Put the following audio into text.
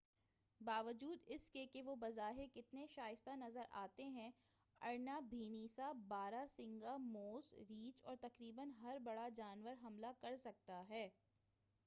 باوجود اس کے کہ وہ بظاہر کتنے شائستہ نظر آتے ہیں ارنا بھینسا بارہ سنگا موس ریچھ اور تقریباً ہر بڑا جانور حملہ کر سکتا ہے